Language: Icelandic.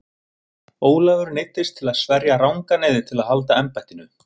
Ólafur neyddist til að sverja rangan eið til að halda embættinu.